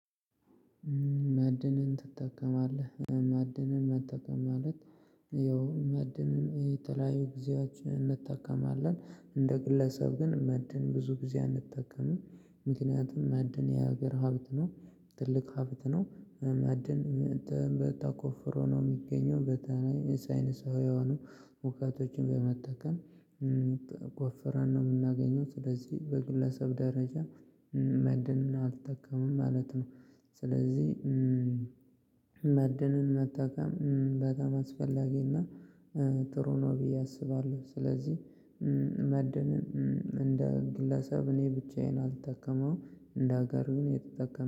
ማዕድንን ትጠቀማለህ መድንን መጠቀም ማለት ይኸውም ማዕድንን የተለያዩ ጊዜያችን እንጠቀማለን እንደ ግለሰብ ግን መድን ብዙ ጊዜ አንጠቀምም ምክንያቱም ማዕድን የሀገር ሀብት ነው። ትልቅ ሀብት ነው። ማዕድን በተቀፈረው ነው የሚገኘው በተለይ የሳይንሳዊ የሆኑ እውቀቶችን በመተቀም ቆፍረን ነው የምናገኘው። ስለዚህ በግለሰብ ደረጃ ማዕድን አልጠቀምም ማለት ነው። ስለዚህ ማዕድንን መጠቀም በጣም አስፈላጊና ጥሩ ነው። ብዬ አስባለሁ። ስለዚህ ማዕድን እንደ ግለሰብ እኔ ብቻዬን አልጠቀመውም እንደ ሀገሩ ነው የተጠቀመው